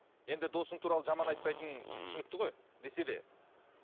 енді досың туралы жаман айтпайтының түсінікті ғой десе де